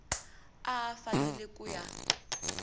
a a fanele ku ya